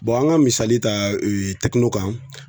an ka misali ta kan.